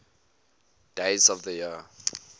days of the year